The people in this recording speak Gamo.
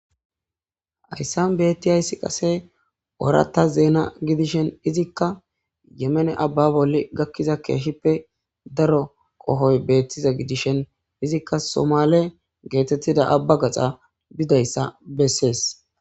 hayssan beettiyayssi qase ooratta zeena gidishen izikka yemene abba bolli gakkiza keehippe daro qohoy beettiza gidishen izikka somale geetettida abba gaxa bidayssa bessees